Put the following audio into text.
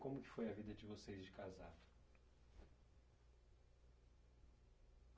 Como que foi a vida de vocês de casado?